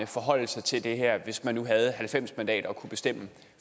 forholde sig til det her hvis man nu havde halvfems mandater og kunne bestemme